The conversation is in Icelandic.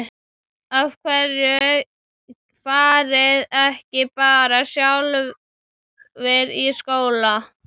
Af hverju fariði ekki bara sjálfar í skóla?